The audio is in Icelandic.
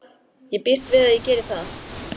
Ég býst við að ég geri það.